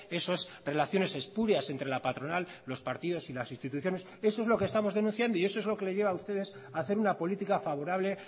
eso es relaciones espurias entre la patronal los partidos y las instituciones eso es lo que estamos denunciando y eso es lo que le lleva a ustedes a hacer una política favorable